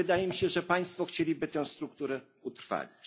I wydaje mi się, że Państwo chcieliby tę strukturę utrwalić.